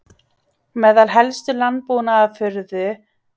Meðal helstu landbúnaðarafurða eru te og ávextir, þar á meðal vínber.